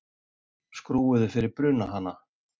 Skrúfuðu fyrir brunahana